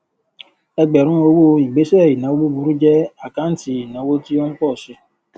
ẹgbẹrún owó ìgbésẹ ìnáwó búburú jẹ àkáǹtì ìnáwó tí ó ń pọ si